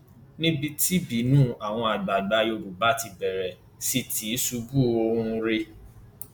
níbi tí ìbínú àwọn àgbààgbà yorùbá ti bẹrẹ sí tìṣubú ọhún rèé